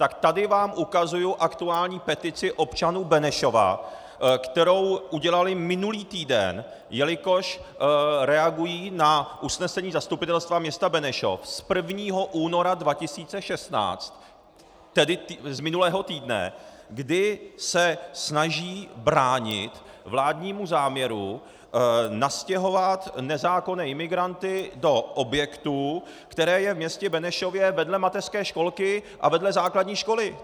Tak tady vám ukazuji aktuální petici občanů Benešova, kterou udělali minulý týden, jelikož reagují na usnesení Zastupitelstva města Benešov z 1. února 2016, tedy z minulého týdne, kdy se snaží bránit vládnímu záměru nastěhovat nezákonné imigranty do objektu, který je ve městě Benešově vedle mateřské školky a vedle základní školy.